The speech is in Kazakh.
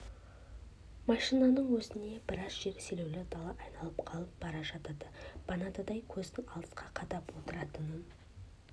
машинаның өзіне біраз жер селеулі дала айналып қалып бара жатады баданадай көзін алысқа қадап отыратын